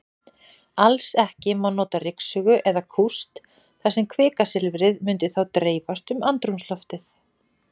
Alls ekki má nota ryksugu eða kúst, þar sem kvikasilfrið mundi þá dreifast um andrúmsloftið.